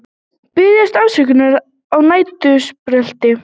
Biðjast afsökunar á næturbrölti